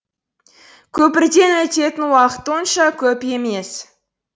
көпірден өтетін уақыт онша көп емес